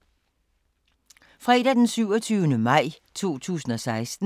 Fredag d. 27. maj 2016